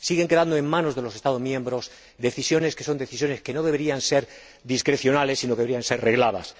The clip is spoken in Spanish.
siguen quedando en manos de los Estados miembros decisiones que son decisiones que no deberían ser discrecionales, sino que deberían ser regladas.